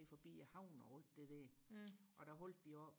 ned forbi havnen og alt det der og der holdte vi oppe